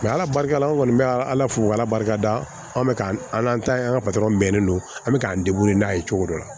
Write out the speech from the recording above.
ala barika la an kɔni bɛ ala fo k'ala barika da an bɛ k'an ta ye an ka patɔrɔn bɛnnen don an bɛ k'an n'a ye cogo dɔ la